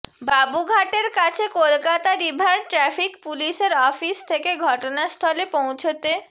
বাবুঘাটের কাছে Kolkata river traffic পুলিশের office থেকে ঘটনাস্থলে পৌঁছতে